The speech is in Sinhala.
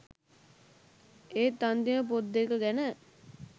ඒත් අන්තිම පොත් දෙක ගැන